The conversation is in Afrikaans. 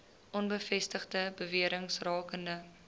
onbevestigde bewerings rakende